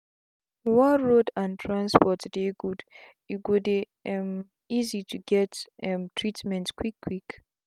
one road and transport dey good e go dey um easy to get um treatment quick quick